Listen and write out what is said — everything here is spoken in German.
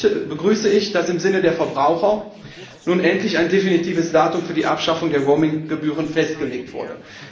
Dennoch begrüße ich, dass im Sinne der Verbraucher nun endlich ein definitives Datum für die Abschaffung der Roaming Gebühren festgelegt wurde.